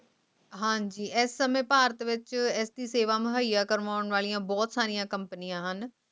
ਹਾਂਜੀ ਇਸ ਸਮੇਂ ਭਾਰਤ ਵਿਚ ਇਸ ਦੀ ਕਰਨ ਵਸਦੇ ਬੋਹਤ ਸਾਰੀ ਕੰਪਨੀਆਂ ਹੈਂ